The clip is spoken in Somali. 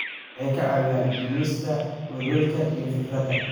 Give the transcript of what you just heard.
Waxay caawiyaan dhimista welwelka iyo fikradaha.